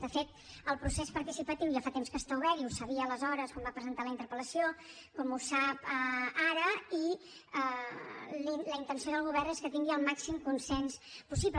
de fet el procés participatiu ja fa temps que està obert ho sabia aleshores quan va presentar la interpel·lació com ho sap ara i la intenció del govern és que tingui el màxim consens possible